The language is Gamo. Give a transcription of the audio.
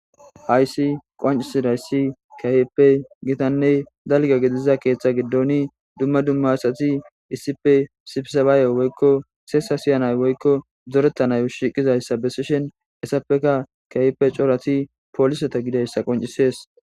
hayssi qoncisida issi kaheppe gitanne dalga gidiza keeththa giddoni dumma dumma asati issipe sifisabaaye woykko seesa siyanay woykko zorettanayo shiqizayssa besishen essapeka kayppe corati pooliseta gidayssa qoncisees